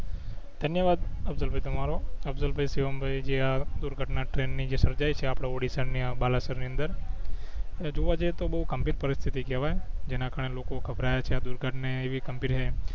ધન્યવાદ અફસલ ભઇ તમારો અફસલભઇ શિવમભઈ જે આ દુર્ઘટના ટ્રેન ની જે સર્જાઇ છે આપડા ઓડીસ્સા ના બાલેશ્વર ની અંદર એ જોવા જઈ એ તો બવ ગંભીર પરિસ્થિતિ કેવાય જેના કારણે લોકો ઘભરાયા છે આ દુર્ઘટના એવી હે